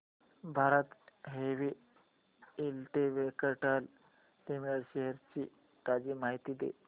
Bharat heavy electricals limited shares ची ताजी माहिती दे